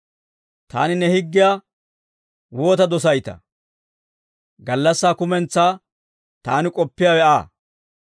Taani ne higgiyaa waata dosayttaa! Gallassaa kumentsaa taani k'oppiyaawe Aa.